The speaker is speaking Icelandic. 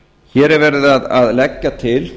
hér er verið að leggja til